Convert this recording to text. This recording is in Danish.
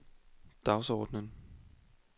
dagsordenen